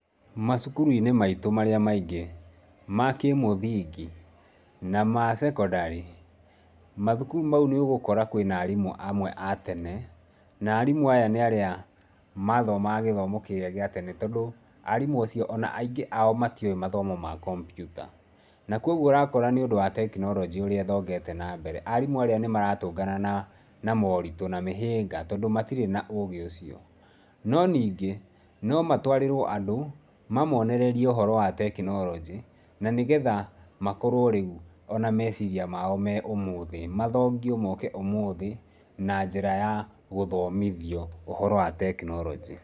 Macukuru-inĩ maitũ marĩa maingĩ ma kĩmũthingi na ma sekondari mathukuru mau nĩ ũgũkora kwĩna arimũ amwe a tene, na arimũ aya nĩ arĩa mathomaga gĩthomo kĩrĩa gĩa tene. Tondũ arimũ acio o na aingĩ ao matiũĩ mathomo ma kompiuta na kwoguo ũrakora nĩũndũ wa technology ũrĩa ĩthongete nambere, arimũ arĩa nĩ maratũngana na maũritũ na mĩhĩnga tondũ matirĩ na ũgĩ ũcio. No ningĩ, no matwarĩrwo andũ mamonererie ũhoro wa technology na nĩgetha makorwo rĩu o na meciria mao me ũmũthĩ, mathomitho mooke ũmũthĩ na njĩra ya gũthomithio ũhoro wa technology.